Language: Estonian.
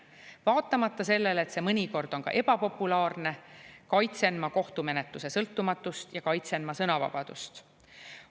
Vaatamata sellele, et see mõnikord on ebapopulaarne, kaitsen ma kohtumenetluse sõltumatust ja kaitsen sõnavabadust.